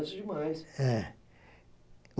Conheço demais. É